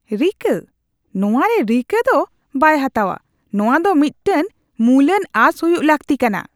ᱨᱤᱠᱟᱹ? ᱱᱚᱶᱟ ᱨᱮ ᱨᱤᱠᱟᱹ ᱫᱚ ᱵᱟᱭ ᱦᱟᱛᱟᱣᱼᱟ, ᱱᱚᱣᱟ ᱫᱚ ᱢᱤᱫᱴᱟᱝ ᱢᱩᱞᱟᱱ ᱟᱸᱥ ᱦᱩᱭᱩᱜ ᱞᱟᱹᱠᱛᱤ ᱠᱟᱱᱟ ᱾